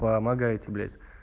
помогайте блять